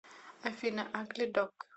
афина агли дог